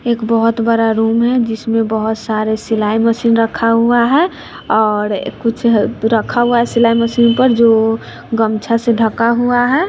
एक बहोत बड़ा रूम है जिसमें बहोत सारे सिलाई मशीन रखा हुआ है और कुछ रखा हुआ है सिलाई मशीन पर जो गमछा से ढका हुआ है।